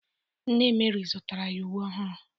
Nne Meri zụtara ya uwe ọhụrụ